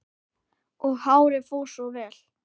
Og hárið fór svo vel!